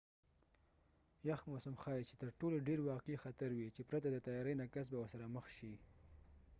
یخ موسم ښایې چې تر ټولو ډیر واقعی خطر وي چې پرته د تیاری نه کس به ورسره مخ شي